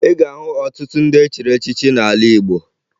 Ị ga-ahụ ọtụtụ ndị e chiri echichi n'ala Igbo